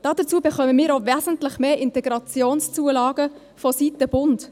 Dazu bekommen wir auch wesentlich mehr Integrationszulagen vonseiten des Bundes.